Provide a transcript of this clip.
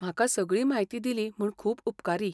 म्हाका सगळी म्हायती दिली म्हूण खूब उपकारी.